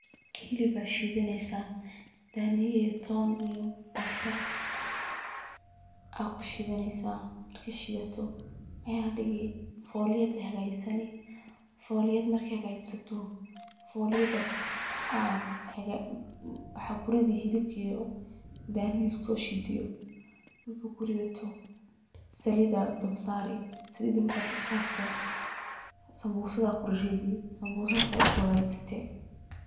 Hilib aya shiidaneysa, daniya iyo ton iyo basal akushiidaneysa, markad shiidato Mel ad dhigi folyadii ayad hagajisanii, folyad markii hagajisato, folyad waxad kuridi hilibk iyo daniyihi iskusho shiide yo ,markad kuridato saliid ad dabka saari, saliida markad dabka saarto, sambusadad kuriridi, sambusa saa ukala hagajisate